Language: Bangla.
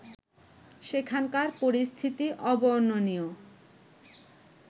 সেখানকার পরিস্থিতি অবর্ণনীয়